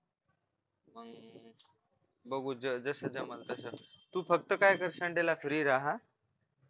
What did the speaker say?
बघू जस जमलं तस तू फक्त काय कर sunday ला free रहा